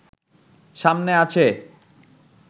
সামনে আছে